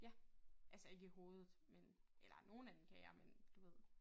Ja altså ikke i hovedet men eller nogle af dem kan jeg men du ved